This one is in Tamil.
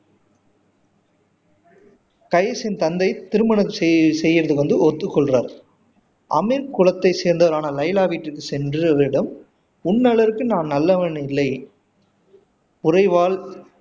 கைசின் தந்தை திருமணம் செய் என்று ஒத்துக்கொள்கிறார் அமீர் குலத்தை சேர்ந்தவளான லைலா வீட்டுக்கு சென்று அவளிடம் உண்ணளவிற்கு நான் நல்லவன் இல்லை ஒரே வாழ்